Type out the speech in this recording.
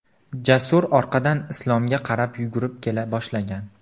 Jasur orqadan Islomga qarab yugurib kela boshlagan.